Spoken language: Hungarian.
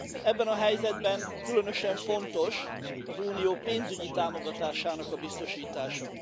Ebben a helyzetben különösen fontos az Unió pénzügyi támogatásának biztosítása.